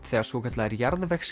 þegar svokallaðir